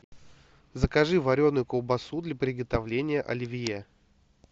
закажи вареную колбасу для приготовления оливье